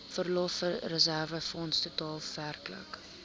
verlofreserwefonds totaal werklik